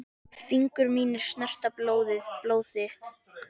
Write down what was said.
Fingur mínir snerta blóð þitt.